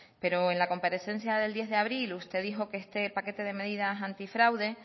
pero en la comparecencia del diez de abril usted dijo que este paquete de medidas antifraude